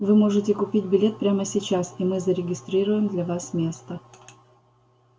вы можете купить билет прямо сейчас и мы зарегистрируем для вас место